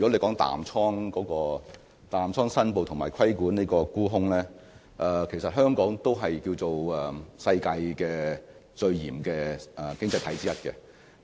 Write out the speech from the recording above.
關於淡倉申報及規管沽空方面，其實香港可以說是世界上最嚴謹的經濟體之一。